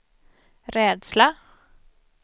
rädsla